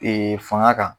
fanga kan